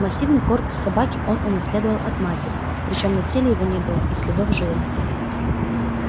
массивный корпус собаки он унаследовал от матери причём на теле его не было и следов жира